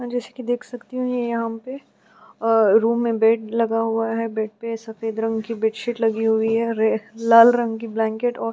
जैसा कि मैं देख सकती हूँ ये यहाँ पे अ रूम में बेड लगा हुआ है बेड पे सफेद रंग की बेडशीट लगी हुई है रे लाल रंग की ब्लैंकेट और --